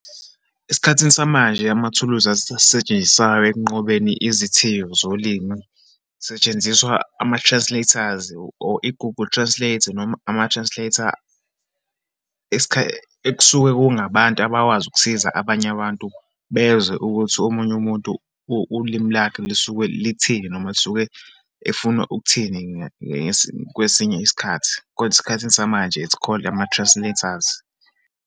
Esikhathini samanje, amathuluzi setshenziswayo ekunqobeni izithiyo zolimi. Kusetshenziswa ama-translators, or i-Google Translator, noma ama-translator ekusuke kungabantu abawazi ukusiza abanye abantu bezwe ukuthi omunye umuntu ulimi lakhe lisuke lithini, noma lisuke efuna ukuthini kwesinye isikhathi. Kodwa esikhathini samanje, its called ama-translators.